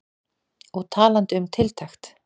Og talandi um tiltekt.